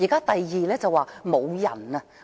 第二，無人手。